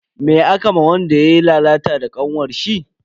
Me aka ma wanda yayi lalata da kanwarshi?